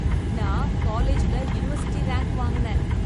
நான் காலேஜ்ல university rank வாங்குனேன்.